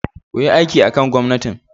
kuyi aiki akan gomnatin